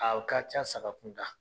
o ka ca saga kunda